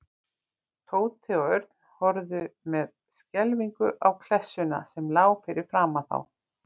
Tóti og Örn horfðu með skelfingu á klessuna sem lá fyrir framan þá.